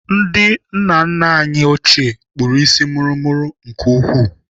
Ndị nna nna anyị ochie kpụrụ isi mụrụmụrụ nke ukwuu.